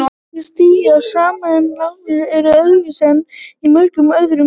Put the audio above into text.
Einkunnastiginn er sá sami en lágmarkseinkunnir eru öðruvísi en í mörgum öðrum deildum.